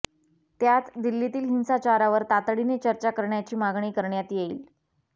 त्यात दिल्लीतील हिंसाचारावर तातडीने चर्चा करण्याची मागणी करण्यात येईल